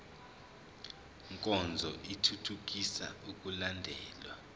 nkonzo ithuthukisa ukulandelwa